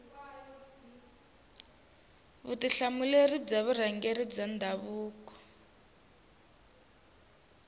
vutihlamuleri bya vurhangeri bya ndhavuko